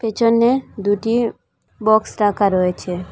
পিছনে দুইটি বক্স রাখা রয়েছে।